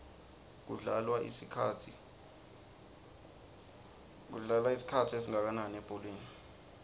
kudlalwa isikhathi esingakananilebholeni